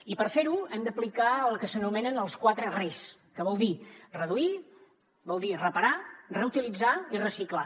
i per fer ho hem d’aplicar el que s’anomenen els quatre res que vol dir reduir vol dir reparar reutilitzar i reciclar